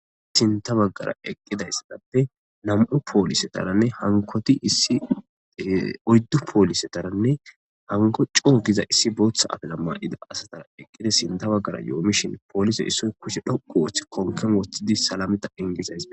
Sinta baggara eqqidayssatappe namu'u poolisetaranne hankoti issi oyddu poolisetaranne hanko coogiza issi booththa atala maa'ida asatara eqqida sinta baggara yo'omishin poolise issoy kushe dhoqu wooth konken woththidi salameta ingizays.